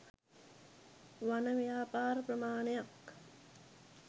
වන ව්‍යාපාර ප්‍රමාණයක්